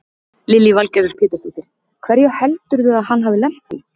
Lillý Valgerður Pétursdóttir: Hverju heldurðu að hann hafi lent í?